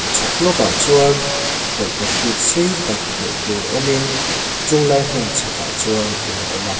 chhak lawk ah chuan tawlhpahrit sei tak hmuh tur awm in chunglai hmun chhak ah chuan in a awm a.